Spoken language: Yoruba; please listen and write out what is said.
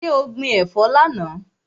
So gbin ẹ̀fọ́ lánàá?